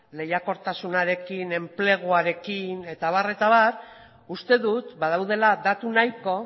lehiakortasnarekin enpleguarekin eta abar eta abar uste dut badaudela datu nahiko